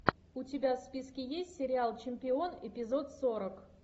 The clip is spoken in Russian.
у тебя в списке есть сериал чемпион эпизод сорок